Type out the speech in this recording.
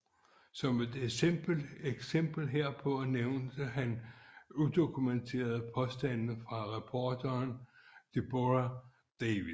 Som et eksempel herpå nævnte han udokumenterede påstande fra reporteren Deborah Davis